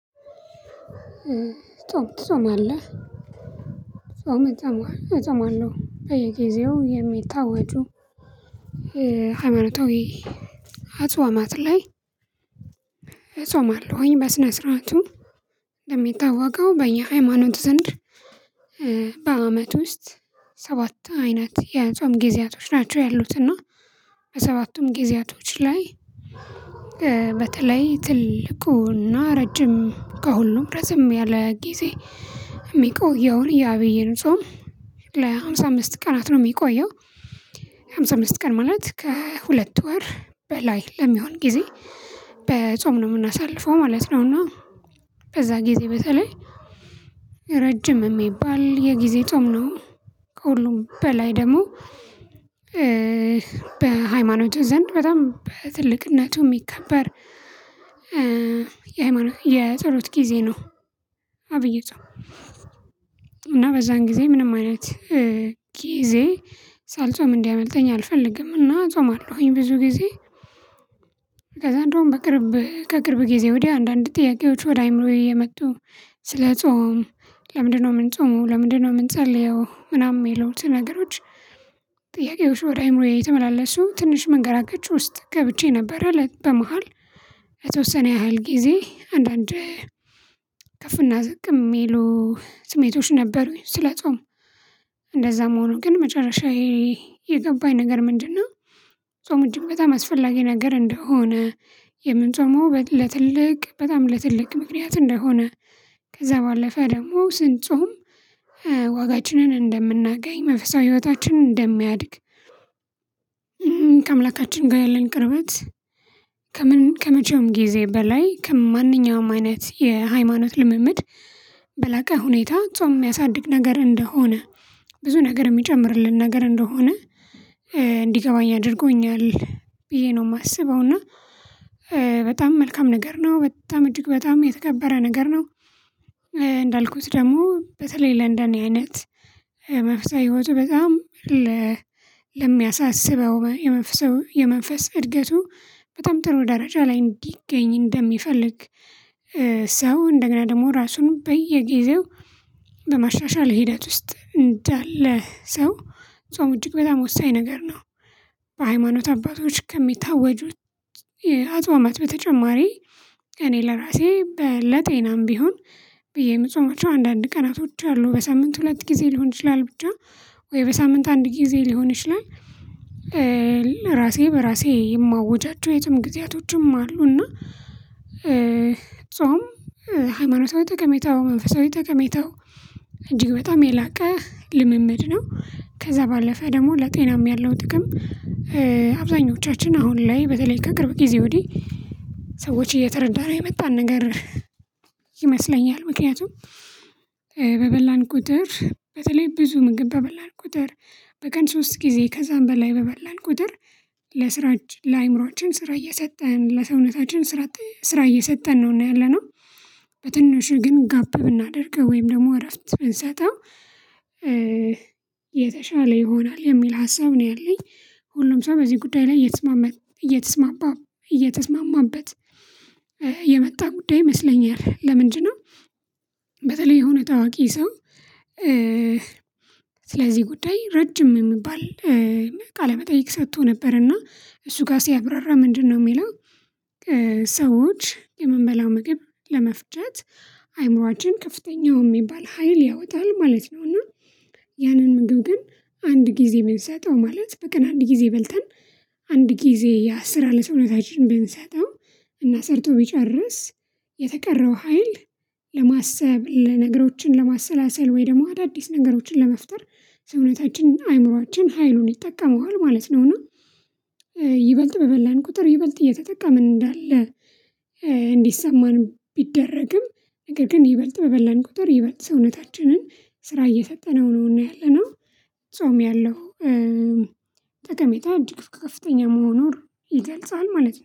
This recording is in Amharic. ጾም ትፆም አለህ? ጾም እፆም አለው በየጊዜው የሚታወጁ ሃይማኖታዊ አጽዋማት ላይ። እጾማለሁኝ በስነ ስርዓቱ እንደሚታወቀው በየሃይማኖቱ ዘንድ በአመት ውስጥ ሰባት አይነት የጾም ጊዜያቶች ናቸው። ያሉት እና በሰባቱም ጊዜያቶች ላይ በተለይ ትልቁና ረጅም ከሁሉም ረዘም ያለ ጊዜ የሚቆየውን የአብይን ጾም ለሃምሳ አምስት ቀናት ነው የሚቆየው። ሃምሳ አምስት ቀን ማለት ከሁለት ወር በላይ ለሚሆን ጊዜ በጾም ነው የምናሳልፈው ማለት ነው። እና በዛ ጊዜ በተለይ ረጅም የሚባል የጊዜ ጾም ነው ከሁሉም በላይ ደግሞ በሃይማኖት ዘንድ በጣም በትልቅነቱ የሚከበር የሃይማኖት የፀሎት ጊዜ ነው። አብይጾም እና በዛን ጊዜ ምንም አይነት ጊዜ ሳልጾም እንዲያመልጠኝ አልፈልግም እና ጾማለሁኝ። ብዙ ጊዜ ከዛ እንደውም በቅርብ ከቅርብ ጊዜ ወዲያ አንዳንድ ጥያቄዎች ወደ አይምሮዬ እየመጡ ስለ ጾም ለምንድነው የምንጾመው ለምንድነው የምንጸልየው ምናምን የሚሉት ነገሮች። ጥያቄዎች ወደ አእምሮዬ የተመላለሱ ትንሽ መንገራገጫዎች ውስጥ ገብቼ ነበረ ለት በመሃል የተወሰነ ያህል ጊዜ አንዳንድ ከፍና ዝቅ የሚሉ ስሜቶች ነበሩኝ። ስለጾም እንደዛም ሆኖ ግን መጨረሻዬ የገባኝ ነገር ምንድነው? ጾም እጅግ በጣም አስፈላጊ ነገር እንደሆነ የምንጾመው ለትልቅ በጣም ለትልቅ ምክንያት እንደሆነ ከዛ ባለፈ ደግሞ ስንጾም ዋጋችን እንደምናገኝ መንፈሳዊ ህይወታችን እንደሚያድግ። ከአምላካችን ጋር ያለን ቅርበት ከመቼውም ጊዜ በላይ ከማንኛውም አይነት የሃይማኖት ልምምድ በላቀ ሁኔታ ጾም የሚያሳድግ ነገር እንደሆነ ብዙ ነገር የሚጨምርልን ነገር እንደሆነ እንዲገባኝ አድርጎኛል። ብዬ ነው የማስበው እና በጣም መልካም ነገር ነው በጣም እጅግ በጣም የተከበረ ነገር ነው። እንዳልኩት ደግሞ በተለይ ለእንደ እኔ አይነት መንፈሳዊ ህይወቱ በጣም ለሚያሳስበው የመንፈስ የመንፈስ እድገቱ በጣም ጥሩ ደረጃ ላይ እንዲገኝ እንደሚፈልግ ሰው እንደገና ደግሞ ራሱን በየጊዜው በማሻሻል ሂደት ውስጥ እንዳለ ሰው ጾም እጅግ በጣም ወሳኝ ነገር ነው። በሃይማኖት አባቶች ከሚታወጁት የአጽዋማት በተጨማሪ እኔ ለራሴ ለጤናም ቢሆን ብዬ የምጾማቸው አንዳንድ ቀናቶች አሉ በሳምንት ሁለት ጊዜ ሊሆን ይችላል ብቻ ወይ በሳምንት አንድ ጊዜ ሊሆን ይችላል። ለራሴ በራሴ የማውጃቸው የጾም ጊዜያቶችም አሉ እና ጾም ሃይማኖታዊ ጠቀሜታው መንፈሳዊ ጠቀሜታው እጅግ በጣም የላቀ ልምምድ ነው። ከዛ ባለፈ ደግሞ ለጤናም ያለው ጥቅም አብዛኞቻችን አሁን ላይ በተለይ ከቅርብ ጊዜ ወዲህ ሰዎች እየተረዳነው የመጣን ነገር ይመስለኛል። ምክንያቱም በበላን ቁጥር በተለይ ብዙ ምግብ በበላል ቁጥር በቀን ሶስት ጊዜ ከዛም በላይ በበላል ቁጥር ለስራችን ለአእምሮአችን ስራ እየሰጠን ለሰውነታችን ስራ ስራ እየሰጠን ነውና ያለነው በትንሹ ግን ጋብ ብናደርገው ወይም ደግሞ እረፍት ብንሰጠው የተሻለ ይሆናል የሚል ሀሳብ ነው ያለኝ። ሁሉም ሰው በዚህ ጉዳይ ላይ እየተስማማበት እየተስማማበት የመጣ ጉዳይ ይመስለኛል ለምንድነው? በተለይ የሆነ ታዋቂ ሰው ስለዚህ ጉዳይ ረጅም የሚባል ቃለ መጠይቅ ሰጥቶ ነበር። እና እሱ ጋር ሲያብራራ ምንድነው? የሚለው ሰዎች የምንበላው ምግብ ለመፍጨት አይምሯችን ከፍተኛው የሚባል ሀይል ያወጣል ማለት ነውና። ያንን ምግብ ግን አንድ ጊዜ ብንሰጠው ማለት በቀን አንድ ጊዜ በልተን አንድ ጊዜ ያንስራ ለሰውነታችን ብንሰጠው እና ሰርቶ ቢጨርስ የተቀረው ሀይል ለማሰብ ነገሮችን ለማሰላሰል ወይ ደግሞ አዳዲስ ነገሮችን ለመፍጠር ሰውነታችን አእምሮአችን ሀይሉን ይጠቀመዋል ማለት ነውና። ይበልጥ በበላን ቁጥር ይበልጥ እየተጠቀምን እንዳለ እንዲሰማንም ቢደረግም ነገር ግን ይበልጥ በበላን ቁጥር ይበልጥ ሰውነታችንን ስራ እየሰጠነው ነውና ያለነው። ጾም ያለው ጠቀሜታ እድግ ከፍተኛ መሆኑን ይገልጻል ማለት ነው